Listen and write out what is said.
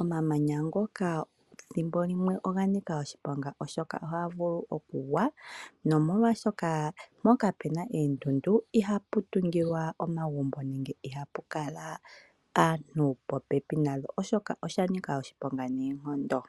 Omamanya ngoka thimbo limwe oga nika oshiponga oshoka ohaga vulu okugwa nomolwashoka mpoka pena eendundu iha pu tugilwa omagumbo nenge iha pukala aantu popepi nadho oshoka oshanika oshiponga neenkondo.